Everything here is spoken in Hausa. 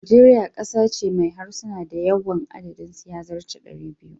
Nigeria kasa ce mai harsuna da yawan adadin su ya zarce 200.